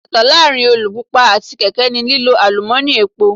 Ìyàtọ̀ láàárín alùpùpù àti kèké ni lílo àlùmọ́ni epo.